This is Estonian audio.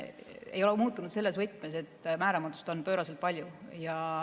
Ei ole muutunud selles võtmes, et määramatust on pööraselt palju.